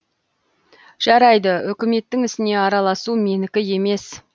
жарайды үкіметтің ісіне араласу менікі емес